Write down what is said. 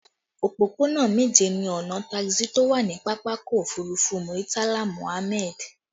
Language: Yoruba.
Òpópónà méje ni ọnà taxi tó wà ní pápákọ̀ òfurufú Muritala Muhammad